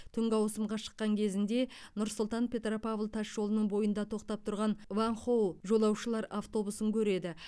түнгі ауысымға шыққан кезінде нұр сұлтан петропавл тас жолының бойында тоқтап тұрған ванхоу жолаушылар автобусын көреді